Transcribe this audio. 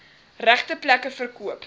regte plekke verkoop